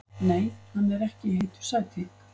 Nei hann er ekki í heitu sæti.